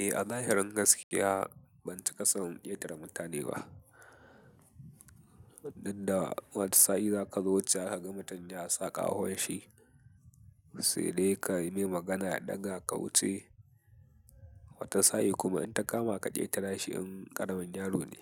Eh a zahirin gaskiya bancika son ƙetara mutane ba. Danda wata sa'i zaka zo wuce kaga mutum ya sa kahon shi sai dai ka yi mai magana ya ɗaga ka wuce. Wata sa'i kuma in ta kama ka ƙetara shi in ƙaramin yaro ne.